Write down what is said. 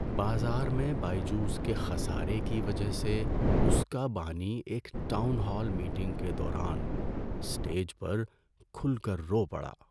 بازار میں بائجوز کے خسارے کی وجہ سے اس کا بانی ایک ٹاؤن ہال میٹنگ کے دوران اسٹیج پر کھل کر رو پڑا۔